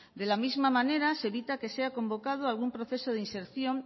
de la misma manera se evita que sea convocado algún proceso de inserción